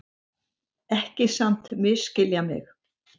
Ekki samt misskilja mig.